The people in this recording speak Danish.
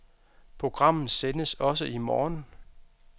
Programmet sendes også i morgen.